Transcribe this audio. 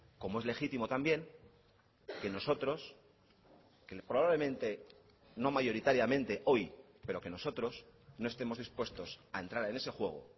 como es legítimo también que nosotros que probablemente no mayoritariamente hoy pero que nosotros no estemos dispuestos a entrar en ese juego